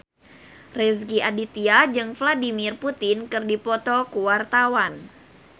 Rezky Aditya jeung Vladimir Putin keur dipoto ku wartawan